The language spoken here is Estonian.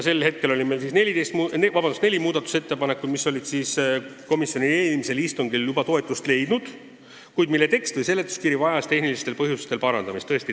Meil oli neli muudatusettepanekut, mis olid toetust leidnud juba komisjoni eelmisel istungil, kuid mille tekst ja seletuskiri vajasid tehnilistel põhjustel parandamist.